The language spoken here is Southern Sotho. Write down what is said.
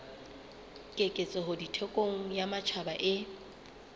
keketseho thekong ya matjhaba e